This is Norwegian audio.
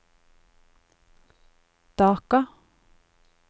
Dhaka